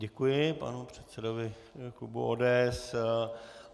Děkuji panu předsedovi klubu ODS.